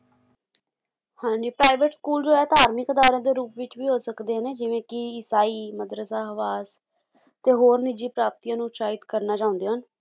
ਹਾਂਜੀ private school ਜੋ ਹੈ ਧਾਰਮਿਕ ਅਦਾਰਿਆਂ ਦੇ ਰੂਪ ਵਿੱਚ ਵੀ ਹੋ ਸਕਦੇ ਨੇ ਜਿਵੇਂ ਕੀ ਈਸਾਈ ਮਦਰਸਾ ਹਵਾਸ ਤੇ ਹੋਰ ਨਿੱਜੀ ਪ੍ਰਾਪਤੀਆਂ ਨੂੰ ਉਤਸ਼ਾਹਿਤ ਕਰਨਾ ਚਾਹੁੰਦੇ ਹਨ